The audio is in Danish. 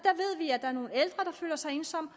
føler sig ensomme